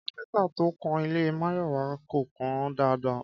Kápẹ́ntà to kan ilé Máyọ̀wá kò kàn án dáadáa